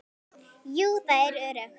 Jú, það er öruggt.